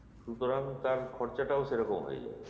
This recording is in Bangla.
সুতরাং তার খরচাটা সেরকম হয়ে যাবে